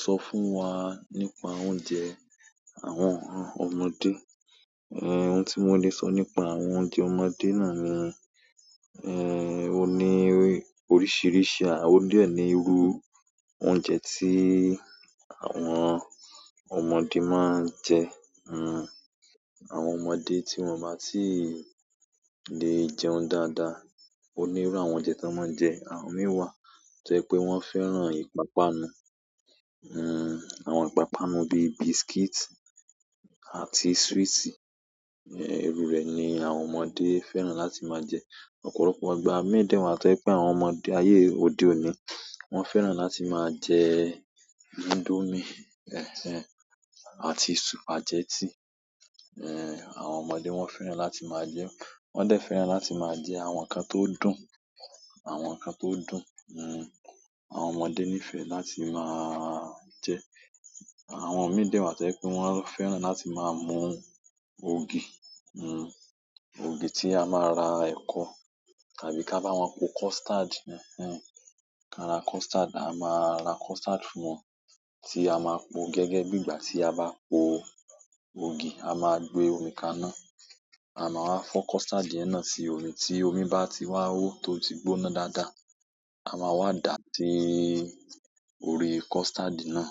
Sọ fún wa nípa oúnjẹ àwọn ọmọdé. Ohun ti mo le so nípa oúnjẹ àwọn ọmọdé náà ni, oni oríṣiríṣi ara, o de ni iru oúnjẹ ti àwọn ọmọdé maa n je hmm, àwọn ọmọdé tí wọ́n má tì lè jẹun dáadáa. Onírú àwọn oúnjẹ tó máa ń jẹ, àwọn mi wàá to jẹ́ pé wọ́n fẹ́ràn ìpápánu. Hmm, àwọn ìpápánu bíi biscuit àti sweet, ẹ́, irú rẹ̀ ni àwọn ọmọdé fẹ́ràn láti máa jẹ. Ọ̀pọ̀lọpọ̀ ìgbà mi de wa to je pe àwọn ọmọdé aye o ode oni, won feera láti ma je indomie, eh eh, àti spaghetti eh, àwọn ọmọdé fẹ́ràn láti ma jee, won de fẹ́ràn la ma je àwọn nkan to dùn, àwọn nkan to dùn. Hmm, àwọn ọmọdé nífẹ̀ẹ́ láti máa je. Àwọn mi de wa tọ̀ jé pe wọ́n fẹ́ràn láti máa mú ògì. Hmm, ògì tí a máa ra ẹ̀kọ̀ tàbí kí a bá wọn po custard. Hmm, ka ra custard, a máa ra custard fún wọn tí a máa po gẹ́gẹ́ bí ìgbà tí a bá po ògì. A máa gbé omi kaná, a máa fọ́ custard yẹn náà sí omi, tí omi bá ti wá ó tó ti gbóná dáadáa, a máa wá dà á sí orí custard náà.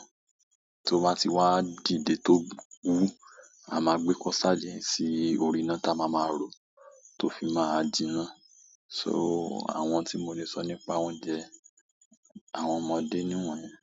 Tó bá ti wá dìde tó wu, a máa gbé custard yẹn sí orí iná táa ma máa rọ̀, tó fi máa jinná. So, àwọn tí mo lè sọ nípa oúnjẹ àwọn ọmọdé ni wọ̀nyán.